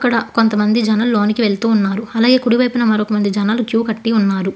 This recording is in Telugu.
ఇక్కడ కొంతమంది జనాలు లోనికి వెళ్తున్నారు అలాగే కుడివైపున మరి కొంత మంది జనాలు క్యూ కట్టి ఉన్నారు.